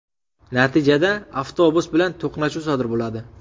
Natijada avtobus bilan to‘qnashuv sodir bo‘ladi.